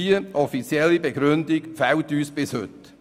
Diese offizielle Begründung fehlt uns bis heute.